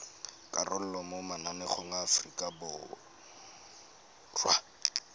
karolo mo mananeng a aforika